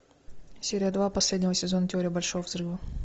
серия два последнего сезона теория большого взрыва